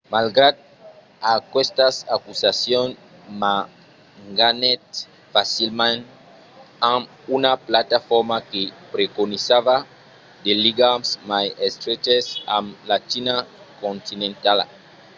malgrat aquestas acusacions ma ganhèt facilament amb una plataforma que preconizava de ligams mai estreches amb la china continentala